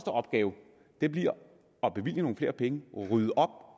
opgave bliver at bevilge nogle flere penge og rydde op